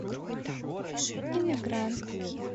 иммигрант